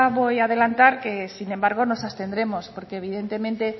voy a adelantar que sin embargo nos abstendremos porque evidentemente